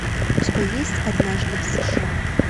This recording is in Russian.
у тебя есть однажды в сша